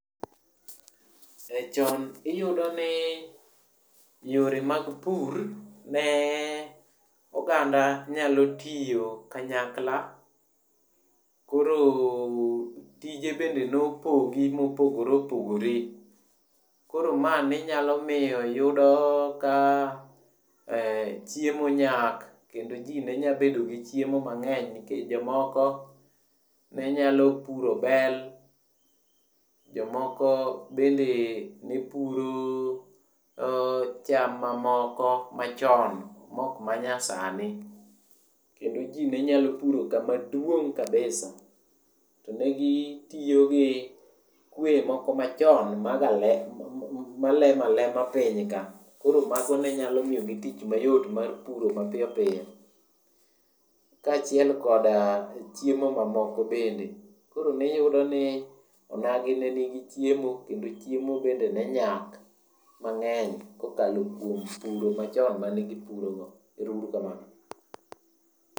E chon iyudoni yore mag pur ne oganda nyalo tiyo kanyakla. Koro tije bende ne opogi mopogore opogore, koro ma ne nyalo miyo iyudo ka chiemo nyak kendo ji ne nyalo bedo gi chiemo mang'eny. Nikech jomoko ne nyalo puro bel, jomoko bende ne puro cham mamoko machon mok manyasani. Kendo ji ne nyalo puro kama duong' kabisa. To ne gitiyo gi kweye moko machon magale malemo alema piny ka. Koro mago ne nyalo migi tich mayot mar puro mapiyo piyo kaachiel koda chiemo mamokogi bende. Koro niyudo ni onagi ne nigi chiemo, chiemo bende ne nyak mang'eny kokalo kuom puro machon mane gipurogo. Ero uru kamano.